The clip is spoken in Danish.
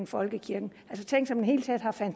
folkekirken altså tænk